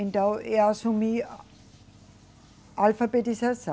Então, eu assumi a alfabetização.